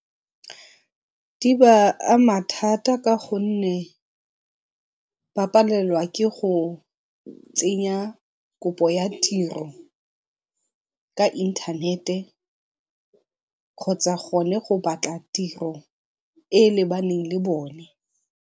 Di ba ama thata ka gonne ba palelwa ke go tsenya kopo ya tiro ka intanete kgotsa gone go batla tiro e e lebaneng le bone.